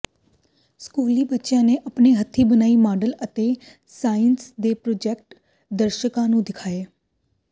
ਸਕੂਲੀ ਬੱਚਿਆਂ ਨੇ ਆਪਣੇ ਹੱਥੀ ਬਣਾਏ ਮਾਡਲ ਅਤੇ ਸਾਇੰਸ ਦੇ ਪ੍ਰਯੋਗ ਦਰਸ਼ਕਾਂ ਨੂੰ ਦਿਖਾਏ